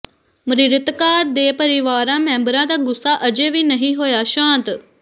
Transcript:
ਮਿ੍ਰਤਕਾਂ ਦੇ ਪਰਿਵਾਰਾ ਮੈਂਬਰਾਂ ਦਾ ਗੁੱਸਾ ਅਜੇ ਵੀ ਨਹੀਂ ਹੋਇਆ ਸ਼ਾਂਤ